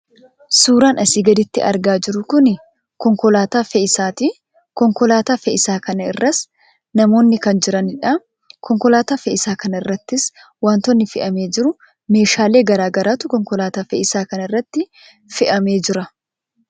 Suuraan asii gaditti argaa jirru kun konkolaataa fe'iinsaati. Konkolaataa fe'iinsaa kana irras namoonni kan jiraniidha. Konkolaataa fe'iinsaa kana irrattis wantootni fe'amee jiru, meeshaalee garaa garaatu konkolaataa fe'iinsaa kana irratti fe'amee jira.